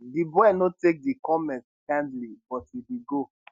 di boy no take di comments kindly but e bin go